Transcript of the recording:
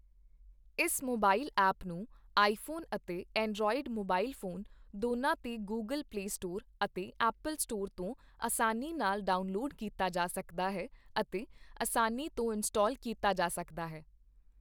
ਇਸ mobile app ਨੂੰ iPhone ਅਤੇ ਐਂਡਰੌਈਡ ਸਮਾਰਟ ਫੋਨ ਦੋਨਾਂ ਤੇ ਗੁਗਲ ਪਲੇ ਸਟੋਰ ਅਤੇ ਐਪਲ ਸਟੋਰ ਤੋਂ ਅਸਾਨੀ ਨਾਲ ਡਾਉਨਲੋਡ ਕੀਤਾ ਜਾ ਸਕਦਾ ਹੈ ਅਤੇ ਅਸਾਨੀ ਤੋਂ ਇੰਸਟੌਲ ਕੀਤਾ ਜਾ ਸਕਦਾ ਹੈ।